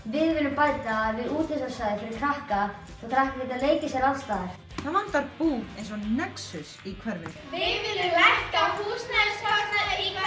við viljum bæta við útivistarsvæði fyrir krakka svo krakkar geti leikið sér alls staðar það vantar búð eins og nexus í hverfið við viljum lækka húsnæðiskostnað